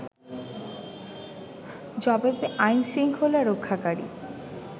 জবাবে আইনশৃঙ্খলা রক্ষাকারী